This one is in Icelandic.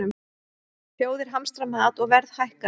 Þjóðir hamstra mat og verð hækkar